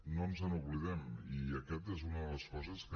no ens n’oblidem i aquesta és una de les coses que